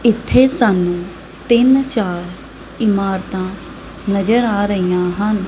ਇੱਥੇ ਸਾਨੂੰ ਤਿੰਨ-ਚਾਰ ਇਮਾਰਤਾਂ ਨਜ਼ਰ ਆ ਰਹੀਆਂ ਹਨ।